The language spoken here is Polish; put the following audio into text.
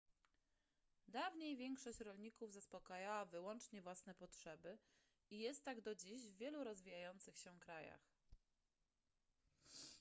dawniej większość rolników zaspokajała wyłącznie własne potrzeby i jest tak do dziś w wielu rozwijających się krajach